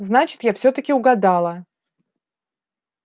значит я всё-таки угадала